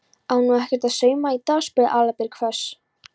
Á nú ekkert að sauma í dag? spurði Aðalbjörg hvöss.